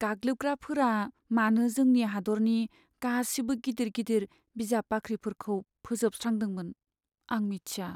गाग्लोबग्राफोरा मानो जोंनि हादोरनि गासिबो गिदिर गिदिर बिजाब बाख्रिफोरखौ फोजोबस्रांदोंमोन, आं मिथिया।